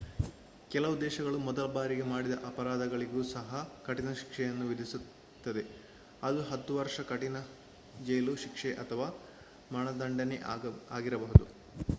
ಕೆಲವು ದೇಶಗಳು ಮೊದಲ ಬಾರಿಗೆ ಮಾಡಿದ ಅಪರಾಧಗಳಿಗೂ ಸಹ ಕಠಿಣ ಶಿಕ್ಷೆಗಳನ್ನು ವಿಧಿಸುತ್ತದೆ ಅದು 10 ವರ್ಷಗಳ ಕಠಿಣ ಜೈಲು ಶಿಕ್ಷೆ ಅಥವಾ ಮರಣದಂಡನೆ ಆಗಿರಬಹುದು